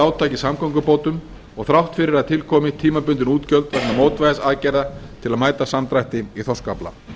í samgöngubótum og þrátt fyrir að til komi tímabundin útgjöld vegna mótvægisaðgerða til að mæta samdrætti í þorskafla